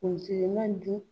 ma nin dun